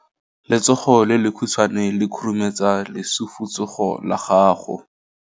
Letsogo le lekhutshwane le khurumetsa lesufutsogo la gago.